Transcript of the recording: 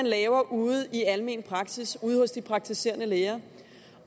laver ude i almen praksis hos de praktiserende læger